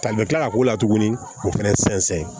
Tan bɛ kila ka k'o la tuguni k'o fɛnɛ sɛnsɛn